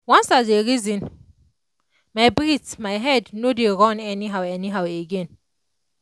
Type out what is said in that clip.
once i dey reason my breathe my head no dey run anyhow anyhow again.